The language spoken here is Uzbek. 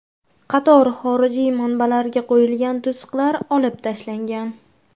Qator xorijiy manbalarga qo‘yilgan to‘siqlar olib tashlangan.